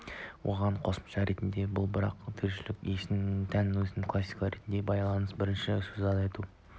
оған қосымша ретінде бұл барлық тіршілік иесіне тән сезімді классификациялау ретіне байланысты бірнеше сөз айта